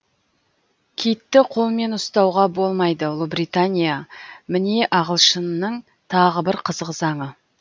китті қолмен ұстауға болмайды ұлыбритания міне ағылшынның тағы бір қызық заңы